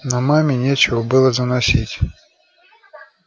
но маме нечего было заносить